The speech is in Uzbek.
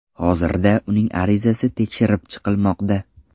Hozirda uning arizasi tekshirib chiqilmoqda.